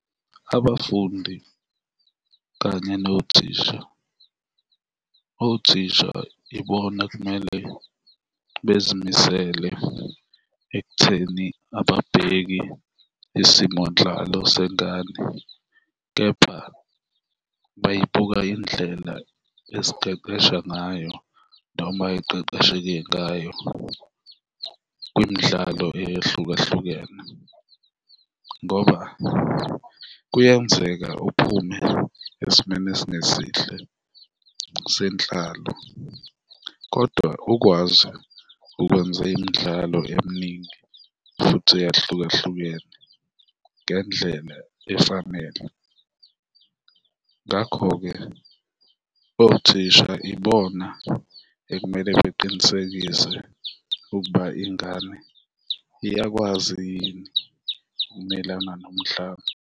Abafundi kanye nothisha. Othisha ibona ekumele bezimisele ekutheni ababheki isimo nhlalo sengane kepha bayibuka indlela esiqeqesha ngayo noma eqeqesheke ngayo kwimidlalo eyahlukahlukene ngoba kuyenzeka uphume esimeni esingesihle senhlalo kodwa ukwazi ukwenza imidlalo eminingi futhi eyahlukahlukene ngendlela efanele. Ngakho-ke, othisha ibona ekumele beqinisekise ukuba ingane iyakwazi yini ukumelana nomhlaba.